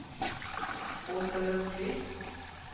Åsa Lundqvist